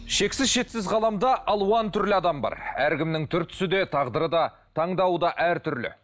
шексіз шетсіз ғаламда алуан түрлі адам бар әркімнің түр түсі де тағдыры да таңдауы да әртүрлі